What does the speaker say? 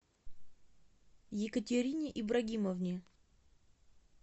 екатерине ибрагимовне